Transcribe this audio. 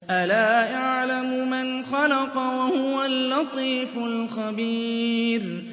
أَلَا يَعْلَمُ مَنْ خَلَقَ وَهُوَ اللَّطِيفُ الْخَبِيرُ